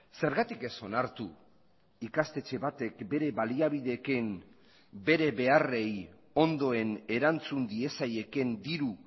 zergatik ez onartu ikastetxe batek bere baliabideekin bere beharrei ondoen erantzun diezaieken diru